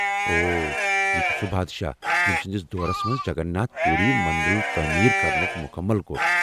اوہ ، یہ چُھ سُہ بادشاہ ییٚمہِ سٕنٛدس دورس منٛز جگن ناتھ پوٗری منددُل تٲمیٖر کرنُک مُكمل كوٚر ۔